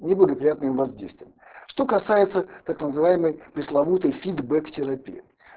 неблагоприятным воздействием что касается так называемой пресловутой фидбэк терапии